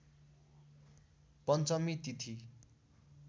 पञ्चमी तिथि